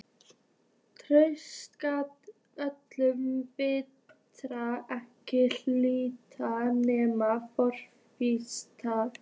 Tuttugasta öldin virtist ekki hlíta neinni forskrift.